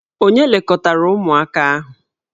Ònye lekọtara ụmụaka ahụ?